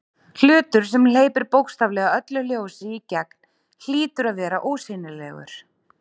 Hlutur sem hleypir bókstaflega öllu ljósi í gegn hlýtur að vera ósýnilegur.